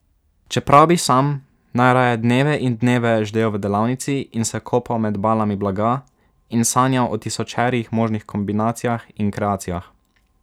Čeprav bi sam najraje dneve in dneve ždel v delavnici in se kopal med balami blaga in sanjal o tisočerih možnih kombinacijah in kreacijah ...